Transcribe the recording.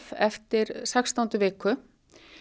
eftir sextándu viku